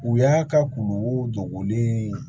U y'a ka kulukogonlen ye